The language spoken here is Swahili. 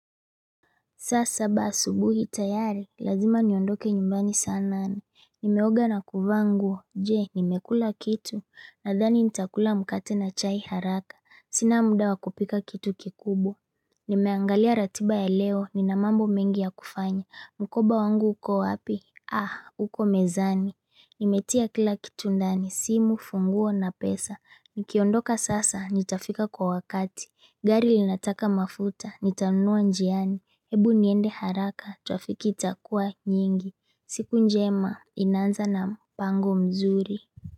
Saa saba asubuhi tayari, lazima niondoke nyumbani saa nane, nimeoga na kuvaa nguo, je, nimekula kitu, nadhani nitakula mkate na chai haraka, sina muda wa kupika kitu kikubwa Nimeangalia ratiba ya leo, ninamambo mengi ya kufanya, mkoba wangu uko wapi? Uko mezani, nimetia kila kitu ndani, simu, funguo na pesa, nikiondoka sasa, nitafika kwa wakati, gari linataka mafuta, nitanunua njiani Hebu niende haraka trafiki itakuwa nyingi. Siku njema inanza na mpango mzuri.